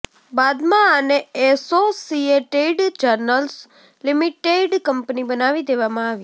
બાદમાં આને associated journals limited company બનાવી દેવામાં આવી